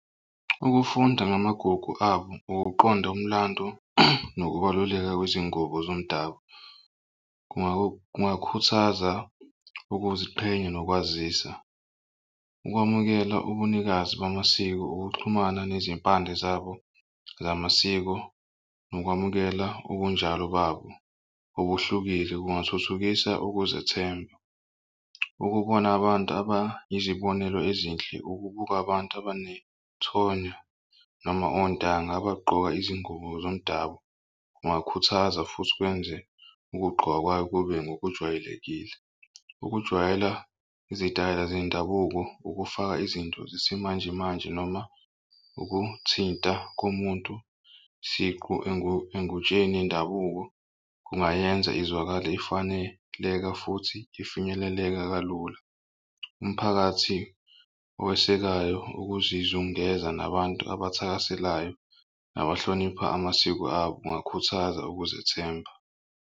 Ukufunda namagugu abo ukuqonda umlando nokubaluleka kwezingubo zomdabu kungakhuthaza ukuziqhenya nokwazisa. Ukwamukela ubunikazi bamasiko ukuxhumana nezimpande zabo zamasiko nokwamukela ubunjalo babo obuhlukile kungathuthukisa ukuzethemba. Ukubona abantu abayizibonelo ezinhle ukubuka abantu abanethonya noma ontanga abagqoka izingubo zomdabu. Kungakhuthaza futhi kwenze ukugqoka kwayo kube ngokujwayelekile. Ukujwayela izitayela zendabuko ukufaka izinto zesimanjemanje noma ukuthinta komuntu siqu engutsheni yendabuko kungayenza izwakale ifaneleka futhi ifinyeleleka kalula. Umphakathi owesekayo ukuzizungeza nabantu abathakaselayo abahlonipha amasiko abo ungakhuthaza ukuzethemba.